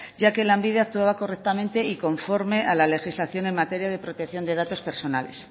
ya que lanbide actuaba correctamente y conforme a la legislación en materia de protección de datos personales